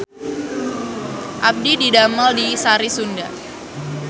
Abdi didamel di Sari Sunda